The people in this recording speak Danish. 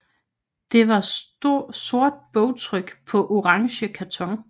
Det var sort bogtryk på orange karton